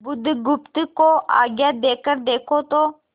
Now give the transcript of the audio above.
बुधगुप्त को आज्ञा देकर देखो तो